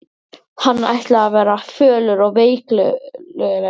Hann ætlaði að verða fölur og veiklulegur.